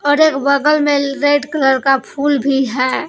और एक बगल में रेड कलर का फूल भी है।